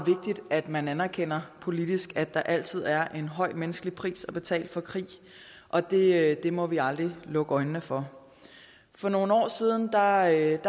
at man anerkender politisk at der altid er en høj menneskelig pris at betale for krig og det må vi aldrig lukke øjnene for for nogle år siden arbejdede